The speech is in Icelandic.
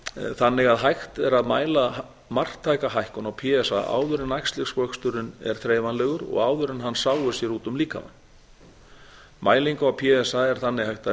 þannig að hægt er að mæla marktæka hækkun á p s a áður en æxlisvöxturinn er þreifanlegur og áður en hann sáir sér út um líkamann mælingu á p s a er þannig hægt að